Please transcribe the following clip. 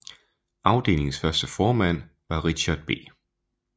Afdelingens første formand var Richard B